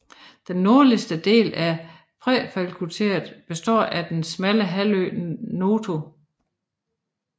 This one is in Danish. Den nordlige del af præfekturet består af den smalle halvø Noto